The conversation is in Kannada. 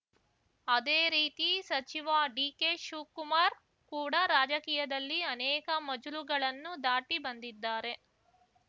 ಅದೇ ರೀತಿ ಸಚಿವ ಡಿಕೆ ಶಿವ್ ಕುಮಾರ್‌ ಕೂಡ ರಾಜಕೀಯದಲ್ಲಿ ಅನೇಕ ಮಜಲುಗಳನ್ನು ದಾಟಿ ಬಂದಿದ್ದಾರೆ